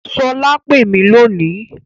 Sola pè mí lónìí